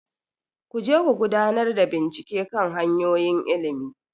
Ku je ku gudanar da bincike kan hanyoyin ilimi,